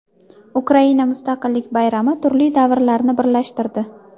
Ukraina mustaqillik bayrami turli davrlarni birlashtirdi.